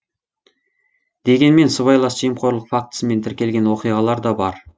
дегенмен сыбайлас жемқорлық фактісімен тіркелген оқиғалар да бар